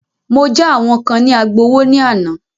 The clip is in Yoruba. Mọ já àwọn kán ní Agbowó ní àná.